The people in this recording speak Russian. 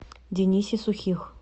денисе сухих